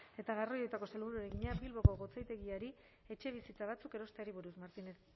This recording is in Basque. eta garraioetako sailburuari egina bilboko gotzaindegiari etxebizitza batzuk erosteari buruz martínez